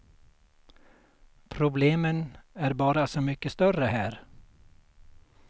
Problemen är bara så mycket större här.